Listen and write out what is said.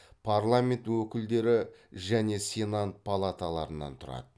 парламент өкілдер және сенат палаталарынан тұрады